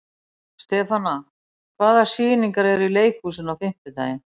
Stefana, hvaða sýningar eru í leikhúsinu á fimmtudaginn?